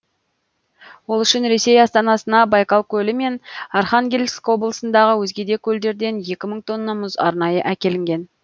ол үшін ресей астанасына байкал көлі мен архангельск облысындағы өзге де көлдерден екі мың тонна мұз арнайы әкелінген